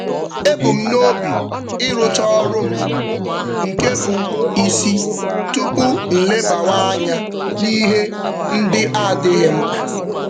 Ebu m n'obi ịrụcha ọrụ m nke bụ isi tupu m lebawa anya n'ihe ndị adịghị mkpa.